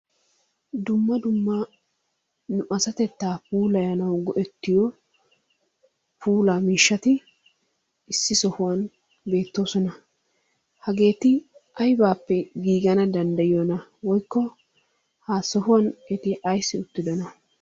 Dumma dumma nu asatettaa puullayanwu go'ettiyo puullaa miishshati issi sohuwaan beetoosona. hageeti aybaappe giigana danddayiyoonaa? woykko ha sohuwan eti ayssi uttidonaa?